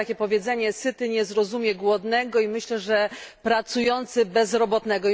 Jest takie powiedzenie syty nie zrozumie głodnego i myślę, że pracujący bezrobotnego.